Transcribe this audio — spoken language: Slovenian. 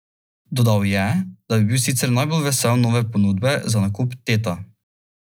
Tako postanem del osovražene potrošniške družbe.